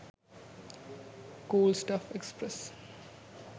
cool stuff express